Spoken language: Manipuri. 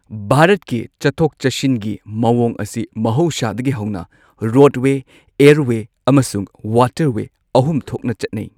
ꯚꯥꯔꯠꯀꯤ ꯆꯠꯊꯣꯛ ꯆꯠꯁꯤꯟꯒꯤ ꯃꯑꯣꯡ ꯑꯁꯤ ꯃꯍꯧꯁꯥꯗꯒꯤ ꯍꯧꯅ ꯔꯣꯗꯋꯦ ꯑꯦꯔꯋꯦ ꯑꯃꯁꯨꯡ ꯋꯥꯇꯔꯋꯦ ꯑꯍꯨꯝ ꯊꯣꯛꯅ ꯆꯠꯅꯩ꯫